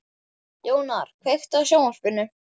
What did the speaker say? Jónar, kveiktu á sjónvarpinu.